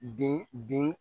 Den den